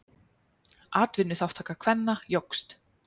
Atvinnuþátttaka kvenna jókst.